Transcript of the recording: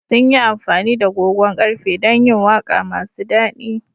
Sun yi amfani da gogon ƙarfe don yin waƙa masu daɗi.